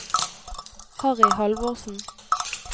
Harry Halvorsen